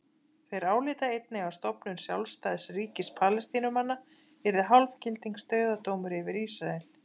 Þeir álíta einnig að stofnun sjálfstæðs ríkis Palestínumanna yrði hálfgildings dauðadómur yfir Ísrael.